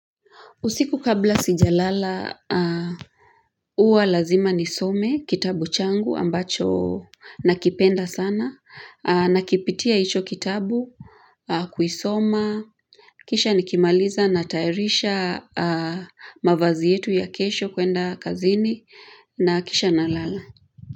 Usiku kabla sijalala huwa lazima nisome kitabu changu ambacho nakipenda sana. Nakipitia hicho kitabu, kuisoma, kisha nikimaliza natayarisha mavazi yetu ya kesho kuenda kazini na kisha na lala.